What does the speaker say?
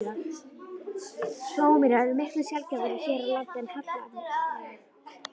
Flóamýrar eru miklu sjaldgæfari hér á landi en hallamýrar.